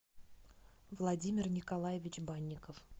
владимир николаевич банников